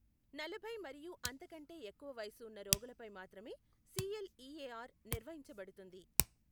నలభై మరియు అంతకంటే ఎక్కువ వయస్సు ఉన్న రోగులపై మాత్రమే సిఎల్ఈఏఆర్ నిర్వహించబడుతుంది.